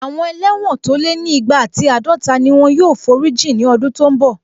Àwọn ẹlẹ́wọ̀n tó lé ní igba ati àádọta ni wọ́n yóò forí jìn ní ọdún tó n bọ̀